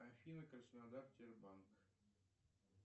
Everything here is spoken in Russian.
афина краснодар сбербанк